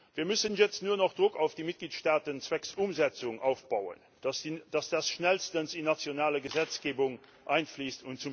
Wir müssen jetzt nur noch Druck auf die Mitgliedstaaten zwecks Umsetzung aufbauen, damit das schnellstens in nationale Gesetzgebung einfließt.